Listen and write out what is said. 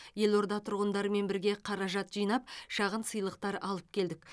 елорда тұрғындарымен бірге қаражат жинап шағын сыйлықтар алып келдік